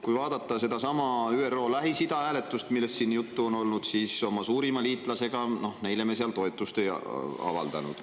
Kui vaadata sedasama ÜRO Lähis-Ida-hääletust, millest siin juttu on olnud, siis oma suurimale liitlasele me seal toetust ei avaldanud.